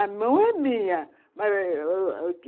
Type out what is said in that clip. A mão é minha.